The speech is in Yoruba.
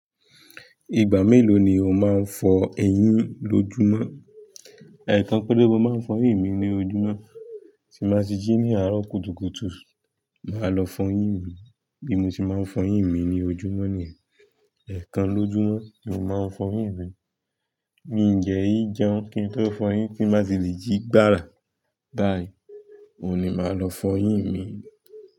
Ìgbà mélòó ni o máa ń fọ eyín lójúmọ́? Ẹ̀ẹ̀kan pere mo máa ń fọ eyín mi ní ojúmọ́, tí bàá ti jí ní àárọ̀ kùtùkùtù, màá lọ fọ eyín mi, bí mo ṣe máa ń fọ eyín mi ní ojúmọ́ ni, ẹ̀ẹ̀kan lójúmọ́ ni mo máa ń fọ eyín mi. Mi de n jẹun kí n tó fọ eyín ti n bá tí lè jí gbára, báyìí, òní màá lọ fọ eyín mi.